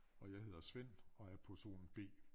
Og jeg hedder Svend og er person B